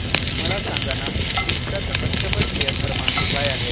मला सांगाना मिंत्रा चा कस्टमर केअर क्रमांक काय आहे